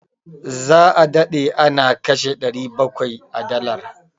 Za a dade ana kashe 700 a dollar.